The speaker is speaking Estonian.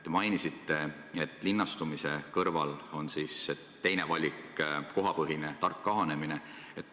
Te mainisite, et linnastumise kõrval on teine valik kohapõhine tark kahanemine.